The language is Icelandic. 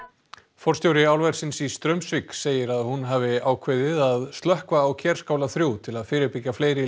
forstjóri álversins í Straumsvík segir að hún hafi ákveðið að slökkva á Kerskála þrjú til að fyrirbyggja fleiri